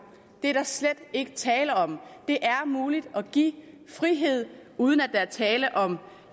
det er der slet ikke tale om det er muligt at give frihed uden at der er tale om